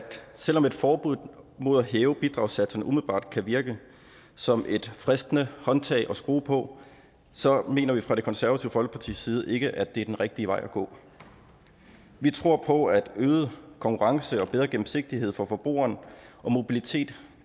selv om et forbud mod at hæve bidragssatserne umiddelbart kan virke som et fristende håndtag at skrue på så mener vi fra det konservative folkepartis side ikke at det er den rigtige vej at gå vi tror på at øget konkurrence og bedre gennemsigtighed for forbrugeren og mobilitet